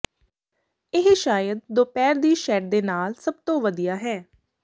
ਇਹ ਸ਼ਾਇਦ ਦੁਪਹਿਰ ਦੀ ਸ਼ੈਡ ਦੇ ਨਾਲ ਸਭ ਤੋਂ ਵਧੀਆ ਹੈ